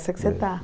Essa que você tá.